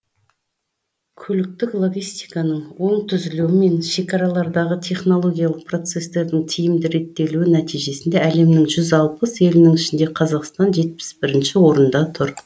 көліктік логистиканың оң түзілуі мен шекаралардағы технологиялық процестердің тиімді реттелуі нәтижесінде әлемнің жүз алпыс елінің ішінде қазақстан жетпіс бірінші орында тұр